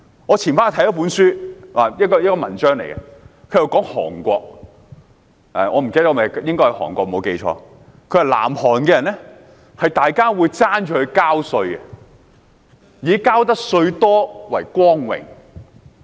我早前看了一篇文章，談論韓國——如果我沒有記錯，應該是韓國——文章寫到南韓人會爭相繳稅，以多繳稅為榮。